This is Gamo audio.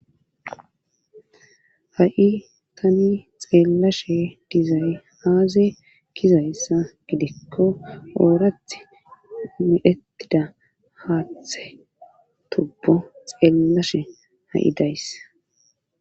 ha7i tani xeellashe dizay aaze gizayssa gidikko oorath miettida haaththe tubbo xeellashe ha7i dayssa